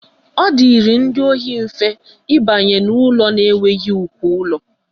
Ọ dịịrị ndị ohi mfe ịbanye n'ụlọ na-enweghị uko ụlọ